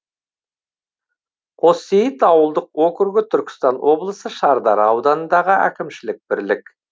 қоссейіт ауылдық округі түркістан облысы шардара ауданындағы әкімшілік бірлік